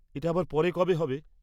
এটা আবার পরে কবে হবে?